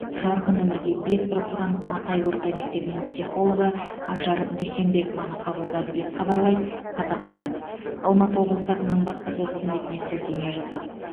жарқын өмірге бет бұрғызған матай орта мектебінің психологы ажар дүйсенбекованы қабылдады деп хабарлайды қазақпарат алматы облысы әкімінің баспасөз қызметіне сілтеме жасап